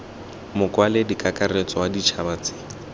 mokwaledi kakaretso wa ditšhaba tse